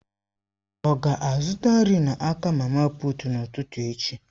Ọ ga-azụta nri n'aka mama puut n'ụtụtụ echi?